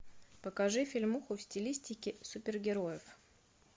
покажи фильмуху в стилистике супергероев